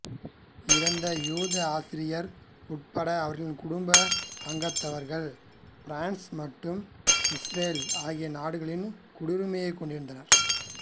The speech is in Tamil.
இறந்த யூத ஆசிரியர் உட்பட அவரின் குடும்ப அங்கத்தவர்கள் பிரான்ஸ் மற்றும் இசுரேல் ஆகிய நாடுகளின் குடியுரிமையைக் கொண்டிருந்தனர்